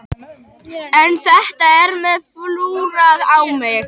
En þetta er ég með flúrað á mig.